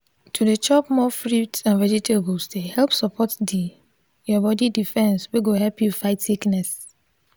to dey chop more fruits and vegetables dey help support the your body defence wey go help you fight sickness.